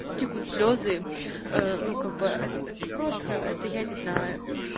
текут слезы э ну как бы это просто это я не знаю